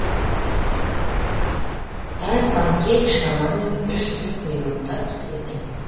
әр панкейк шамамен үш төрт минутта піседі